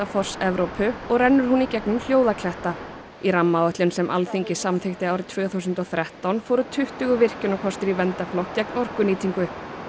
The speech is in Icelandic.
foss Evrópu og rennur hún í gegnum Hljóðakletta í rammaáætlun sem Alþingi samþykkti árið tvö þúsund og þrettán fóru tuttugu virkjunarkostir í verndarflokk gegn orkunýtingu